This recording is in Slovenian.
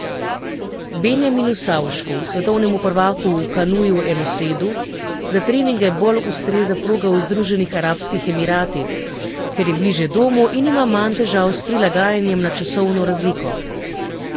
Benjaminu Savšku, svetovnemu prvaku v kanuju enosedu, za treninge bolj ustreza proga v Združenih arabskih emiratih, ker je bližje domu in ima manj težav s prilagajanjem na časovno razliko.